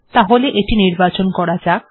তাহলে এটি নির্বাচন করা যাক